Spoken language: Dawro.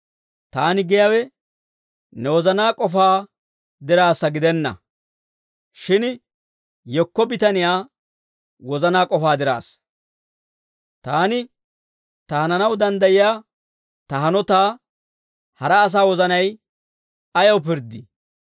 Taani giyaawe ne wozanaa k'ofaa diraassa gidenna; shin yekko bitaniyaa wozanaa k'ofaa diraassa. Taani ta hananaw danddayiyaa ta hanotaa hara asaa wozanay ayaw pirddii?